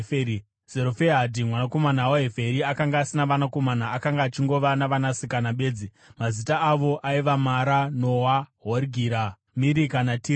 (Zerofehadhi mwanakomana waHeferi akanga asina vanakomana; akanga achingova navanasikana bedzi, mazita avo aiva: Mara, Noa, Hogira, Mirika naTiriza.)